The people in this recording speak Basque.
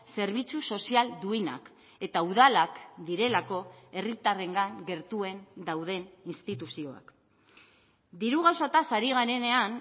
zerbitzu sozial duinak eta udalak direlako herritarrengan gertuen dauden instituzioak diru gauzataz ari garenean